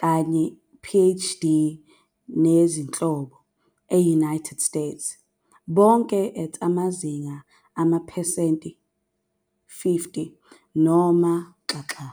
kanye PhD nezinhlelo e-United States, bonke at amazinga amaphesenti 50 noma xaxa.